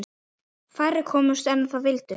Færri komust að en vildu.